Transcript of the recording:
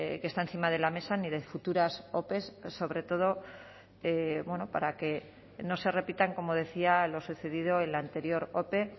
que está encima de la mesa ni de futuras ope sobre todo para que no se repitan como decía lo sucedido en la anterior ope